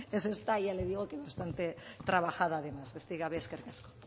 es esta ya le digo que bastante trabajada además besterik gabe eskerrik asko